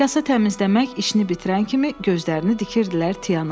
Kasa təmizləmək işini bitirən kimi gözlərini dikirdilər Tiana.